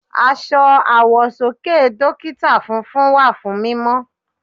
Aṣọ àwọ̀sọ́kè Dókítà funfun wà fún mímọ́.